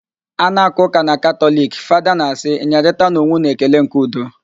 A na-aka ụka na katọliki, Fada na-asị, "nyerịtanụ onwe ụnụ ekele nke udo"